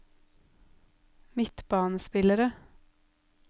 midtbanespillere